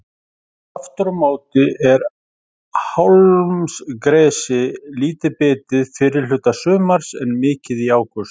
Aftur á móti er hálmgresi lítið bitið fyrri hluta sumars en mikið í ágúst.